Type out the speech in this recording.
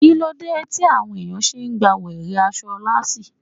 Kíló dé tí àwọn ẹ̀yàn ṣe gba wèrè aṣọ lásìì?